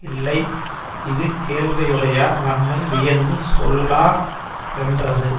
இல்லை இது கேள்வியுடையார் தம்மை வியந்து சொல்லா ரென்றது